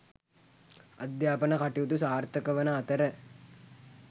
අධ්‍යාපන කටයුතු සාර්ථකවන අතර